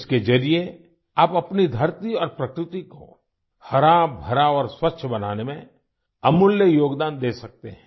इसके जरिए आप अपनी धरती और प्रकृति को हराभरा और स्वच्छ बनाने में अमूल्य योगदान दे सकते हैं